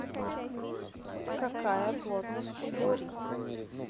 какая плотность у борий